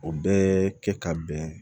O bɛɛ kɛ ka bɛn